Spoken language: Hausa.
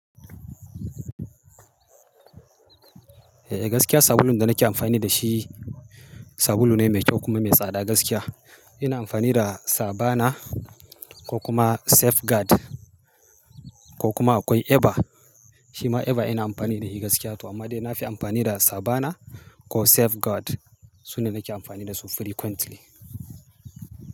Eh gaskiya sabulun da nake amfani da shi, sabulu ne mai kyau kuma mai tsada gaskiya. Ina amfani da Savana ko kuma Safeguard ko kuma akwai Eva. Shi ma Eva ina amfani da shi gaskiya to amma dai na fi amfani da Savana ko Safeguard. Su ne nake amfani da su frequently.